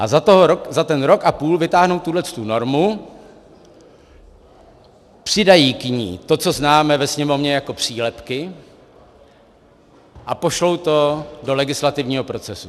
A za ten rok a půl vytáhnou tuhletu normu, přidají k ní to, co známe ve Sněmovně jako přílepky, a pošlou to do legislativního procesu.